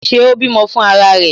Ṣé o bímọ fún ara rẹ?